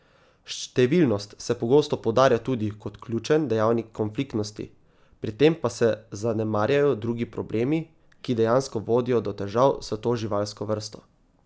Številnost se pogosto poudarja tudi kot ključen dejavnik konfliktnosti, pri tem pa se zanemarjajo drugi problemi, ki dejansko vodijo do težav s to živalsko vrsto.